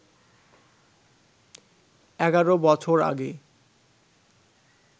১১ বছর আগে